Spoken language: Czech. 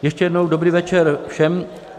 Ještě jednou dobrý večer všem.